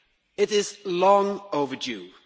It is long overdue.